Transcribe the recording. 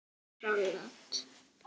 Franskt salat